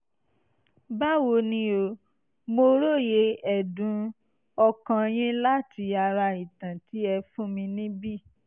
báwo ni o? mo róye ẹ̀dùn-ọkàn yín láti ara ìtàn tí ẹ fún mi níbi